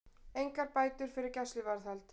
Engar bætur fyrir gæsluvarðhald